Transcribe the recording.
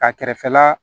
Ka kɛrɛfɛ la